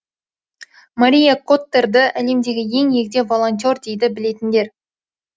мария коттерді әлемдегі ең егде волонтер дейді білетіндер